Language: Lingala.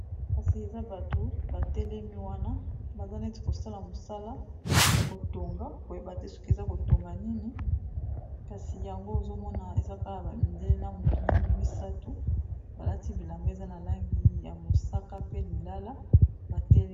kasi eza bato batelemi wana baza neti kosala mosala ya kotonga koyeba te soki eza kotonga nini kasi yango ozomona eza kala bamidele na motu mwindu misato balati bilamba eza na langi ya mosaka pe lilala batelemi